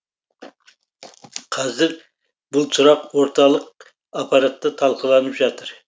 қазір бұл сұрақ орталық аппаратта талқыланып жатыр